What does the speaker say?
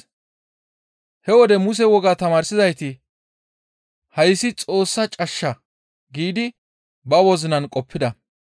He wode Muse wogaa tamaarsizayti, «Hayssi Xoossa cashsha» giidi ba wozinan qoppida.